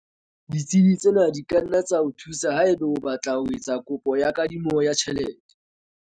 Ditsebi tsena di ka nna tsa o thusa haeba o batla ho etsa kopo ya kadimo ya tjhelete.